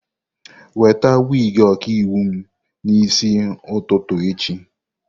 Weta wig ọkaiwu m n'isi ụtụtụ echi!